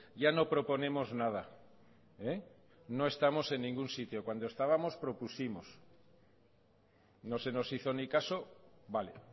ya no proponemos nada no estamos en ningún sitio cuando estábamos propusimos no se nos hizo ni caso vale